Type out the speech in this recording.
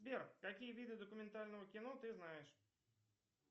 сбер какие виды документального кино ты знаешь